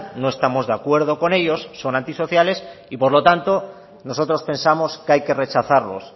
no estamos de acuerdo con ellos son antisociales y por lo tanto nosotros pensamos que hay que rechazarlos